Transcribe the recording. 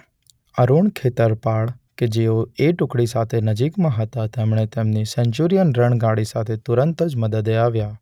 અરૂણ ખેતરપાળ કે જેઓ એ ટુકડી સાથે નજીકમાં હતા તેમણે તેમની સેન્ચુરીઅન રણગાડી સાથે તુરંત જ મદદે આવ્યા.